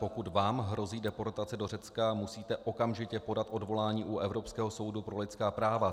Pokud vám hrozí deportace do Řecka, musíte okamžitě podat odvolání u Evropského soudu pro lidská práva.